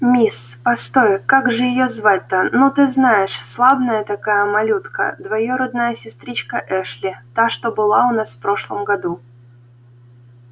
мисс постой как же её звать то ну ты знаешь славная такая малютка двоюродная сестричка эшли та что была у нас в прошлом году